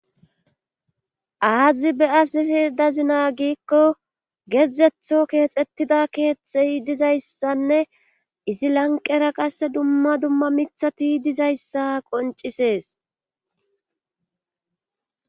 aazi beyasishira dazinaa giikko gezetho keexxettida keeththey dizayssanne izi lanqera qasse dumma dumma mithati dizayssa qoncisees